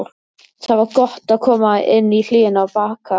Það var gott að koma inn í hlýjuna á Bakka.